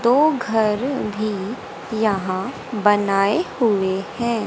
दो घर भी यहां बनाए हुए हैं।